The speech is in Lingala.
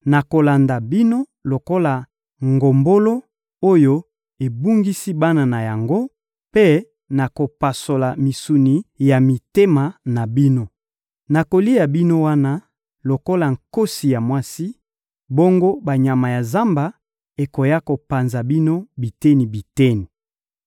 Nakolanda bino lokola ngombolo oyo ebungisi bana na yango mpe nakopasola misuni ya mitema na bino. Nakolia bino wana, lokola nkosi ya mwasi, bongo banyama ya zamba ekoya kopanza bino biteni-biteni.